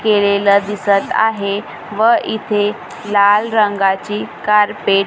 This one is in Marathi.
केलेलं दिसत आहे व इथे लाल रंगाची कार्पेट --